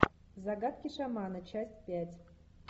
загадки шамана часть пять